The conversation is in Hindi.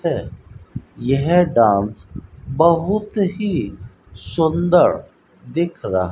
है यह डांस बहुत ही सुंदर दिख रहा --